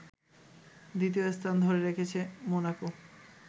দ্বিতীয় স্থান ধরে রেখেছে মোনাকো